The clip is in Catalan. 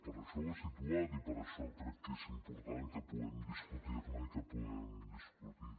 per això ho he situat i per això crec és important que puguem discutir ne i que ho puguem discutir